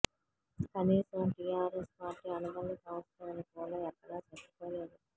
కనీసం టిఆర్ఎస్ పార్టీ అనుబంధ సంస్థ అని కూడా ఎక్కడా చెప్పుకోలేదు